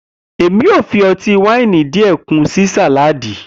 Emi yoo fi ọti-waini diẹ kun si saladi.